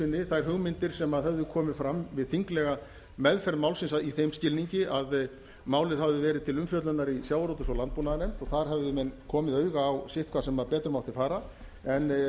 sinni þær hugmyndir sem höfðu komið fram við þinglega meðferð málsins í þeim skilningi að málið hafði verið til umfjöllunar í sjávarútvegs og landbúnaðarnefnd og þar höfðu menn komið auga á sitthvað sem betur mátti fara en